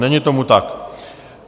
Není tomu tak.